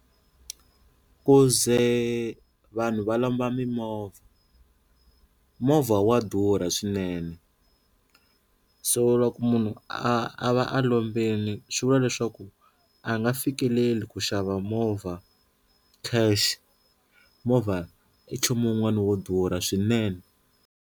Ku ze vanhu va lomba mimovha movha wa durha swinene so loko munhu a a va a lombile swi vula leswaku a nga fikeleli ku xava movha cash movha i nchumu wun'wana wo durha swinene.